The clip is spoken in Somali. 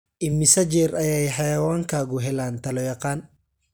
Immisa jeer ayay xayawaankaagu helaan talo-yaqaan?